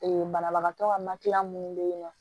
banabagatɔ ka minnu bɛ yen nɔ